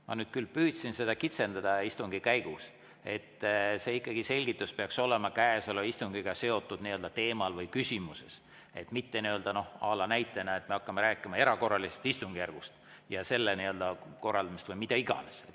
Ma küll püüdsin seda õigust istungi käigus kitsendada, et see selgitus peaks olema käesoleva istungiga seotud teemal või küsimuses, mitte, noh, à la näitena, et me hakkame rääkima erakorralisest istungjärgust ja selle korraldamisest või mida iganes.